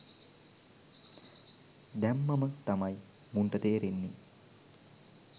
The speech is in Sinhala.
දැම්මම තමයි මුන්ට තේරෙන්නේ.